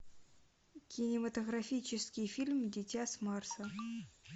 кинематографический фильм дитя с марса